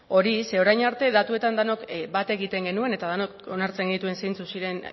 hori zeren orain arte datuetan denok bat egiten genuen eta denok onartzen genituen zeintzuk ziren